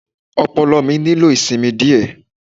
Ọpọlọ mi nílò ìsinmi díẹ̀.